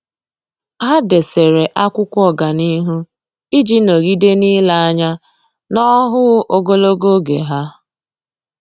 Há dèsere ákwụ́kwọ́ ọ́gànihu iji nọ́gídé n’ílé anya n’ọ́hụ́ụ ogologo oge ha.